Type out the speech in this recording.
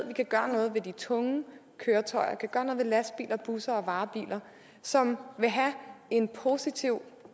vi kan gøre noget ved de tunge køretøjer vi kan gøre noget ved lastbiler busser og varebiler som vil have en positiv